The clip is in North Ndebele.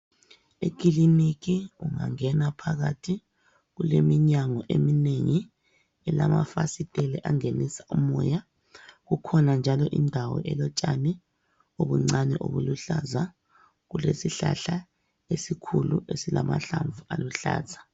Ekiliniki ungangena phakathi kuleminyango eminengi, elamafasitela angenisa umoya kukhona njalo indawo elotshani obuncane obuluhlaza kulesihlahla esikhulu esilamahlamvu aluhlaza.